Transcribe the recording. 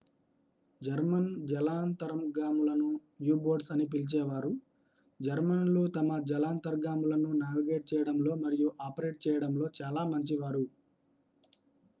German జలాంతర్గాములను U boats అని పిలిచేవారు జర్మన్లు తమ జలాంతర్గాములను నావిగేట్ చేయడంలో మరియు ఆపరేట్ చేయడంలో చాలా మంచివారు